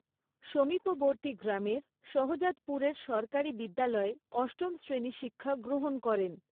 সমীপবৰ্তী গ্রামের শহজাদপুরের সরকারি বিদ্যালয়ে অষ্টম শ্ৰেণী শিক্ষা গ্ৰহণ করেন।